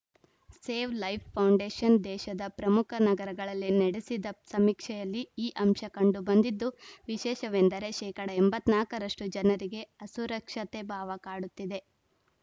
save life foundation ದೇಶದ ಪ್ರಮುಖ ನಗರಗಳಲ್ಲಿ ನಡೆಸಿದ ಸಮೀಕ್ಷೆಯಲ್ಲಿ ಈ ಅಂಶ ಕಂಡುಬಂದಿದ್ದು ವಿಶೇಷವೆಂದರೆ ಶೇಕಡಾ ಎಂಬತ್ತ್ ನಾಲ್ಕ ರಷ್ಟುಜನರಿಗೆ ಅಸುರಕ್ಷತೆ ಭಾವ ಕಾಡುತ್ತಿದೆ